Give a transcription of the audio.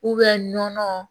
nɔnɔ